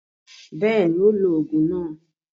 Bẹ́ẹ̀ni, ó lo òògùn náà.